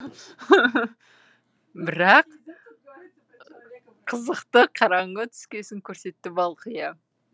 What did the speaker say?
бірақ қызықты қараңғы түскесін көрсетті балқия